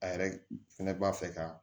A yɛrɛ fɛnɛ b'a fɛ ka